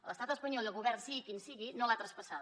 l’es·tat espanyol i el govern sigui quin sigui· no l’han traspassada